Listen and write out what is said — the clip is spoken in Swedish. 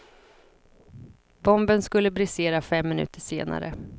Bomben skulle brisera fem minuter senare.